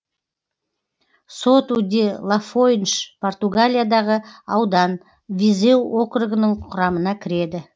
соту де лафойнш португалиядағы аудан визеу округінің құрамына кіреді